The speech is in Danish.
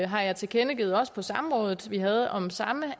har jeg tilkendegivet også på det samråd vi havde om samme